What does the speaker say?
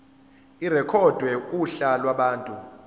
irekhodwe kuhla lwabantu